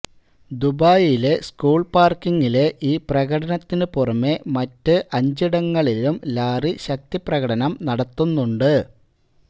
ദുബായിലെ സ്കൂൾ പാര്ക്കിംഗിലെ ഈ പ്രകടനത്തിന് പുറമെ മറ്റ് അഞ്ചിടങ്ങളിലും ലാറി ശക്തി പ്രകടനം നടത്തുന്നുണ്ട്